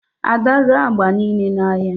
ada ree agba niile n'ahịa